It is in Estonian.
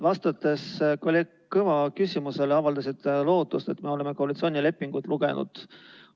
Vastates kolleeg Kõva küsimusele, avaldasite lootust, et me oleme koalitsioonilepingut lugenud.